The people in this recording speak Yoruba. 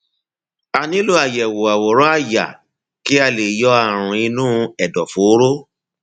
a nílò àyẹwò àwòrán àyà kí a lè yọ ààrùn inú ẹdọfóró